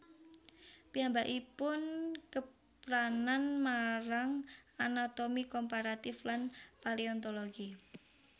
Piyambakipun kepranan marang anatomi komparatif lan paleontologi